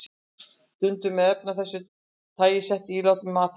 Stundum eru efni af þessu tagi sett í ílát með matvælum.